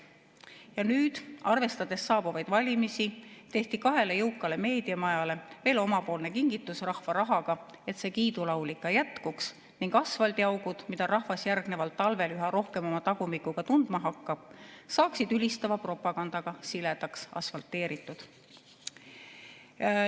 Ja nüüd, arvestades saabuvaid valimisi, tehti kahele jõukale meediamajale veel omalt poolt kingitus rahva rahaga, et seda kiidulaulu ikka jätkuks ning asfaldiaugud, mida rahvas järgneval talvel üha rohkem oma tagumikuga tundma hakkab, saaksid ülistava propagandaga siledaks asfalteeritud.